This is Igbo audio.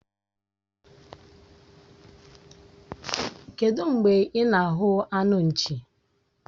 Kedụ mgbe ị na-ahụ anụ nchi?